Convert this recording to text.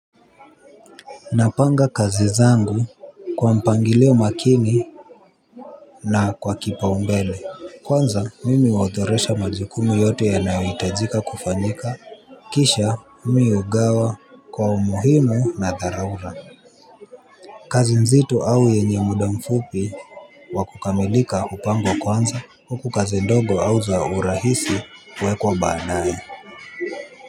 Napanga kazi zangu kwa mpangilio makini na kwa kipa umbele. Kwanza mimi huodhoresha majukumu yote ya nao itajika kufanyika. Kisha mimi ugawa kwa umuhimu na dharura. Kazi nzito au yenye muda mfupi wa kukamilika upangwa kwanza. Huku kazi ndogo au za urahisi huwekwa baadaye.